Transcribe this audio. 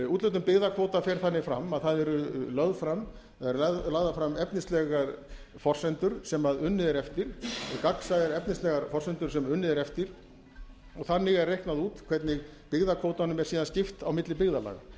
úthlutun byggðakvóta fer þannig fram að það eru lagðar fram efnislegar forsendur sem unnið er eftir gagnsæjar efnislega forsendur sem unnið er eftir og þannig er reiknað út hvernig byggðakvótanum er síðan skipt á milli byggðarlaga